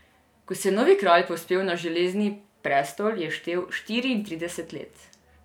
Ko se je novi kralj povzpel na železni prestol, je štel štiriintrideset let.